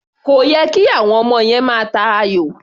Kò yẹ kí àwọm ọmọ yẹn máa ta ayò.